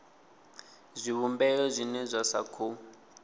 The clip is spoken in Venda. zwivhumbeo zwine zwa sa khou